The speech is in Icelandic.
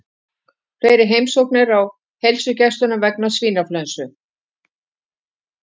Fleiri heimsóknir á heilsugæslu vegna svínaflensu